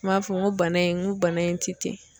N m'a fɔ n ko bana in n ko bana in ti ten